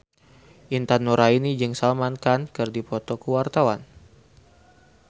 Intan Nuraini jeung Salman Khan keur dipoto ku wartawan